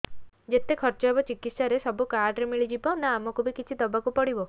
ଯେତେ ଖର୍ଚ ହେବ ଚିକିତ୍ସା ରେ ସବୁ କାର୍ଡ ରେ ମିଳିଯିବ ନା ଆମକୁ ବି କିଛି ଦବାକୁ ପଡିବ